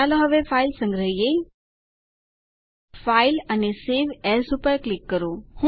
ચાલો હવે ફાઈલ સંગ્રહિયે ફાઇલ અને સવે એએસ પર ક્લિક કરો